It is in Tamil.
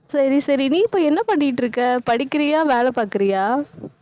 சரி, சரி, நீ இப்ப என்ன பண்ணிட்டு இருக்க படிக்கிறியா வேலை பாக்குறியா